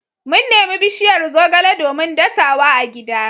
Mun nemi bishiyar zogale domin dasa wa agida.